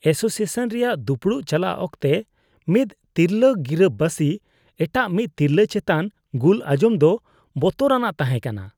Association ᱨᱮᱭᱟᱜ ᱫᱩᱯᱩᱲᱩᱵ ᱪᱟᱞᱟᱜ ᱚᱠᱛᱮ ᱢᱤᱫ ᱛᱤᱨᱞᱟᱹ ᱜᱤᱨᱟᱹᱵᱟᱹᱥᱤ ᱮᱴᱟᱜ ᱢᱤᱫ ᱛᱤᱨᱞᱟᱹ ᱪᱮᱛᱟᱱ ᱜᱩᱞ ᱟᱸᱡᱚᱢ ᱫᱚ ᱵᱚᱛᱚᱨᱟᱱᱟᱜ ᱛᱟᱦᱮᱸᱠᱟᱱᱟ ᱾